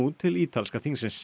til ítalska þingsins